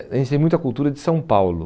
A gente tem muita cultura de São Paulo.